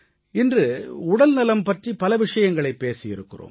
இன்று உடல்நலம் பற்றி பல விஷயங்களைப் பேசியிருக்கிறோம்